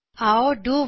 ਆਓ ਡੁ ਵਾਇਲ ਡੋ